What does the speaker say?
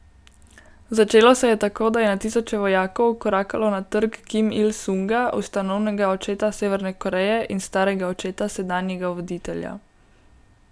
Začelo se je tako, da je na tisoče vojakov vkorakalo na Trg Kim Il Sunga, ustanovnega očeta Severne Koreje in starega očeta sedanjega voditelja.